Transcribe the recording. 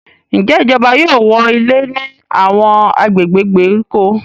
Njé ìjọba yóò wọ ilé ní Àwọn agbègbè ìgbèríko?